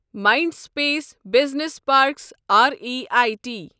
Mindspace business parks R E I T